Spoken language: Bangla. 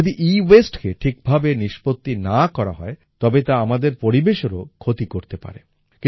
যদি EWasteকে ঠিকভাবে নিষ্পত্তি না করা হয় তবে তা আমাদের পরিবেশেরও ক্ষতি করে পারে